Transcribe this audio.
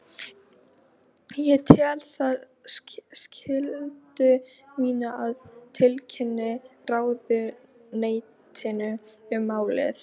Ég tel það skyldu mína að tilkynna ráðuneytinu um málið.